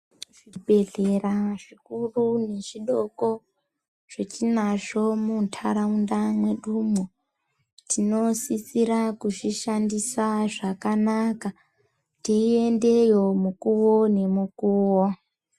Zvibhedhlera zvikuru nezvidoko zvatinazvo mundaraunda medu mo tinosisira kuzvishandisa zvakanaka tiendeyo mukuwo ngemukuwo.